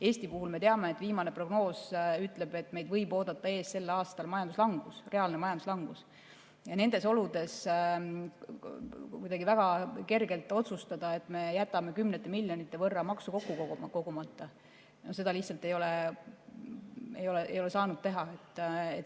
Eesti puhul me teame, viimane prognoos ütleb, et meid võib sel aastal oodata ees majanduslangus, reaalne majanduslangus, ja nendes oludes kuidagi väga kergelt otsustada, et me jätame kümnete miljonite võrra maksu kogumata, seda lihtsalt ei saa teha.